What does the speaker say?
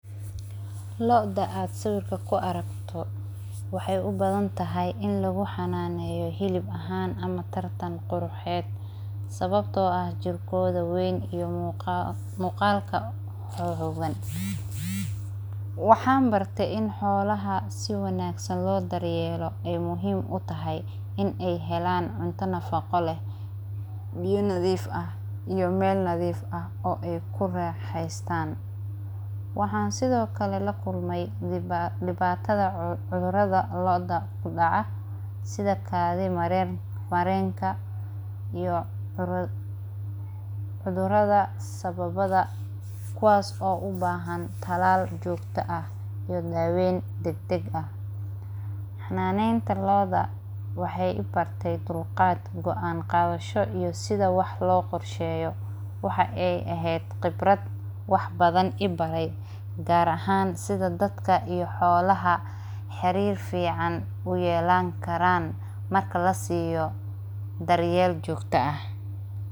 Lo'oda aad siwirka kuaragto, waxay ubadantahy ini laguxananeyo hilib ahan, ama tartan quruxed, sabto aah jirkoda weyn iyo muqalka xoxogan, waxan bartey in xolaha si wanagsan loo daryelo aay muhim utahay inay helan cunto nafaqo leh, biyo nadif ah iyo mel nadif ah ay kuraxeystan waxan sidiokale lakulmey dibatada cudurada kudaca, sidhaa kadhi marenka, iyo cudurada sababada kuwas oo ubahan talal jogto ah iyo daweyn deg deg ah xananeynta loo'da waxay ibarte dulqad, go'an qadasho iyo sidaa wax loqorsheyo waxa ay ehed qibrad badaan ibare gar aahan sidaa dadka iyo xolaha xarir fican uyelani karan marka lasiyo daryel jogtoo ah.